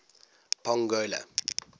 pongola